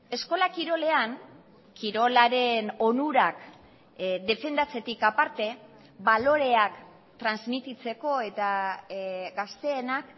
eskola kirolean kirolaren onurak defendatzetik aparte baloreak transmititzeko eta gazteenak